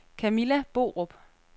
Camilla Borup